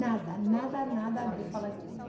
Nada, nada, nada disso. Acabei de falar espanhol.